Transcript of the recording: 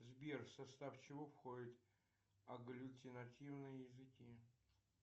сбер в состав чего входят агглютинативные языки